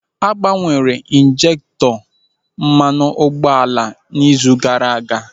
A gbanwere ịnjekutọ mmanụ ụgbọala n'izu gaara aga.